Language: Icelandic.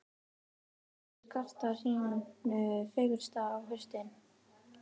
Náttúran skartar sínu fegursta á haustin.